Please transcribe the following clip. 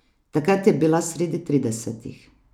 Takrat je bila sredi tridesetih.